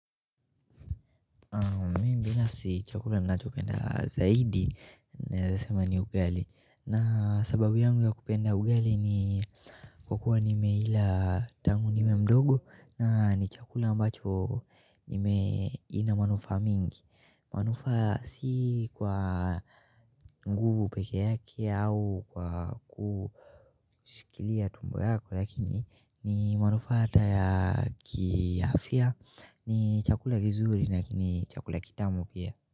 Mi binafsi chakula ninacho penda zaidi naeza sema ni ugali na sababu yangu ya kupenda ugali ni kwa kuwa nimeila tangu niwe mdogo na ni chakula ambacho nime ina manufaa mingi manufaa si kwa nguvu pekee yake au kwa ku shikilia tumbo yako lakini ni manufaa hata ya ki afya ni chakula kizuri lakini chakula kitamu pia.